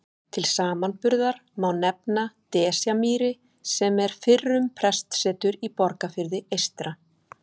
Til samanburðar má nefna Desjarmýri sem er fyrrum prestsetur í Borgarfirði eystra.